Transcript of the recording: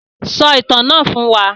Sọ ìtàn náà fún wa.